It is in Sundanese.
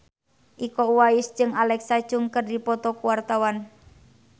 Iko Uwais jeung Alexa Chung keur dipoto ku wartawan